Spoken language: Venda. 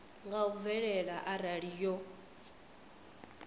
nga u bvelela arali yo